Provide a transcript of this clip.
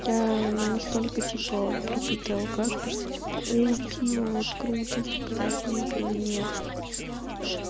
я не настолько типа пропитая алкашка что типа о пиво вот круто типа дайте мне пива нет